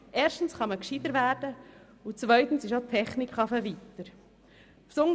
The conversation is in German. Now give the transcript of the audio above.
Erstens kann man gescheiter werden, und zweitens ist auch die Technik weitergekommen.